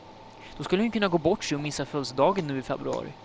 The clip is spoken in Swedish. Då skulle han ju kunna gå bort sig och missa födelsedagen nu i februari.